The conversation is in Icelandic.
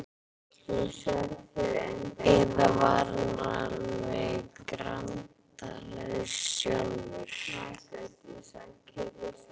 Eða var hann alveg grandalaus sjálfur?